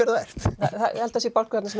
þú ert ég held það sé bálkur þarna sem